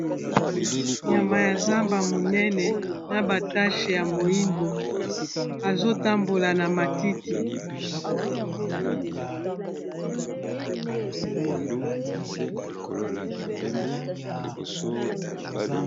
Nyama ya zamba monene na ba tache ya moyindo azotambola na matiti.